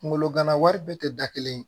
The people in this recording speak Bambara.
Kunkolo gana wari bɛɛ tɛ da kelen ye